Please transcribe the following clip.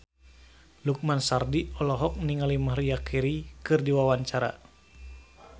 Lukman Sardi olohok ningali Maria Carey keur diwawancara